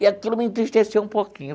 E aquilo me entristeceu um pouquinho.